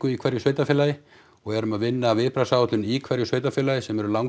í hverju sveitarfélagi og erum að vinna að viðbragðsáætlun í hverju sveitarfélagi sem eru